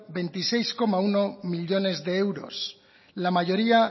veintiséis coma uno millónes de euros la mayoría